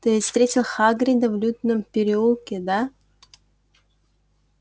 ты ведь встретил хагрида в лютном переулке да